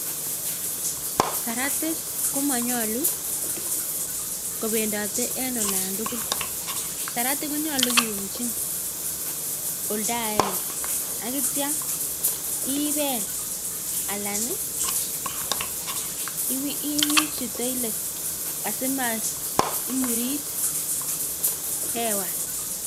Saratik komonyolu kobendote en olon tugul saratik konyolu kiumchin oldo agenge ak kityo ibel alan iwirchi toilet asimaimurit hewa.